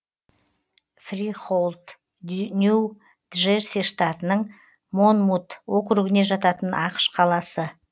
фрихоулд нью джерси штатының монмут округіне жататын ақш қаласы